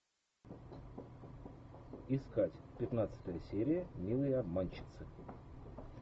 искать пятнадцатая серия милые обманщицы